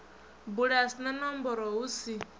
bulasi na nomboro hu si